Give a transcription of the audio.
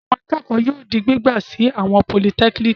Àwọn akẹ́kọ̀ọ́ yóò di gbígbà sí àwọn politẹ́kíníkì.